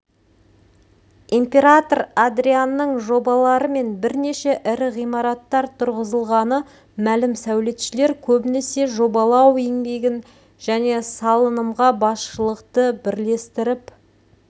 император адрианның жобаларымен бірнеше ірі ғимараттар тұрғызылғаны мәлім сәулетшілер көбінесе жобалау еңбегін және салынымға басшылықты бірлестіріп